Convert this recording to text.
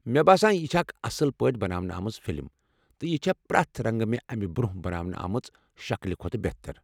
مےٚ باسان یہ چھےٚ اکھ اصل پٲٹھۍ بناونہٕ آمٕژ فِلم ، تہٕ یہِ چھےٚ پرٛٮ۪تھ رنٛگہٕ مےٚ امہِ برونہہ بناونہٕ آمٕژ شكلہِ كھوتہٕ بہتر ۔